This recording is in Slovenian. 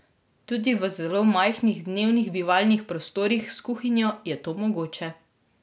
Tudi v zelo majhnih dnevnih bivalnih prostorih s kuhinjo je to mogoče.